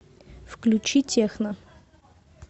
включи техно